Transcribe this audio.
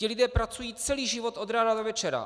Ti lidé pracují celý život od rána do večera.